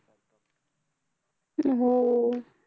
हम्म